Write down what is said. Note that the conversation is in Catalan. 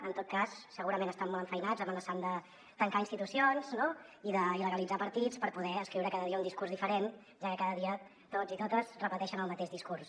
en tot cas segurament estan molt enfeinats amenaçant de tancar institucions no i d’il·legalitzar partits per poder escriure cada dia un discurs diferent ja que cada dia tots i totes repeteixen el mateix discurs